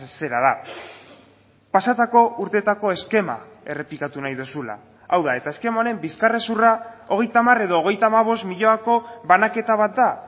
zera da pasatako urtetako eskema errepikatu nahi duzula hau da eta eskema honen bizkarrezurra hogeita hamar edo hogeita hamabost milioiko banaketa bat da